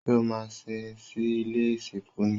Ṣé o maa sín sí ilé ìsìnkú ni?